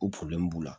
O b'u la